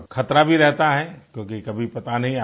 और ख़तरा भी रहता है क्योंकि कभी पता नहीं